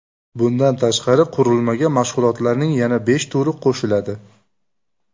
Bundan tashqari, qurilmaga mashg‘ulotlarning yana besh turi qo‘shiladi.